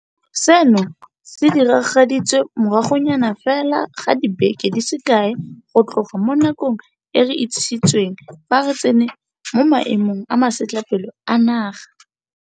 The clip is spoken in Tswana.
Seno se diragaditswe moragonyana fela ga dibeke di se kae go tloga mo nakong e re itsisitsweng fa re tsena mo Maemong a Masetlapelo a Naga.